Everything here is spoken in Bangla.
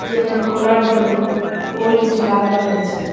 এখানে খোলার জন্য গোল কিছু লাগানো রয়েছে।